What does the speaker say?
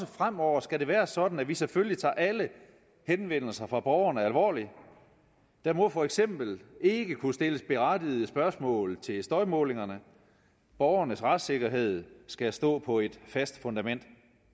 fremover skal være sådan at vi selvfølgelig tager alle henvendelser fra borgerne alvorligt der må for eksempel ikke kunne stilles berettigede spørgsmål til støjmålingerne borgernes retssikkerhed skal stå på et fast fundament